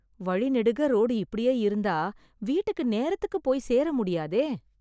வழி நெடுக ரோடு இப்படியே இருந்தா வீட்டுக்கு நேரத்துக்குப் போயி சேர முடியாதே!